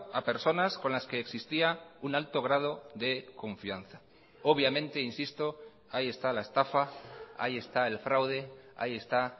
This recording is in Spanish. a personas con las que existía un alto grado de confianza obviamente insisto ahí está la estafa ahí está el fraude ahí está